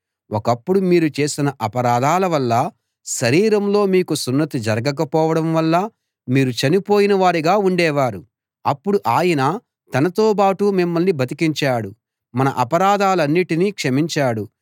ఒకప్పుడు మీరు చేసిన అపరాధాలవల్లా శరీరంలో మీకు సున్నతి జరగక పోవడంవల్లా మీరు చనిపోయిన వారుగా ఉండేవారు అప్పుడు ఆయన తనతోబాటు మిమ్మల్ని బతికించాడు మన అపరాధాలన్నిటినీ క్షమించాడు